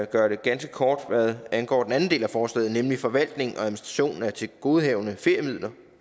gøre det ganske kort hvad angår den anden del af forslaget nemlig forvaltning og administration af tilgodehavende feriemidler